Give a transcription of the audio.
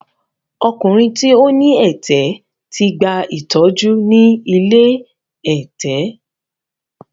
Ọkùnrin tí ó ní ẹ̀tẹ̀ ti gba ìtọ́jú ni ilé ẹ̀tẹ̀.